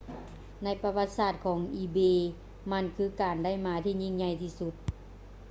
ໃນປະຫວັດສາດຂອງ ອີເບ ebay ມັນຄືການໄດ້ມາທີ່ຍິ່ງໃຫຍ່ທີ່ສຸດ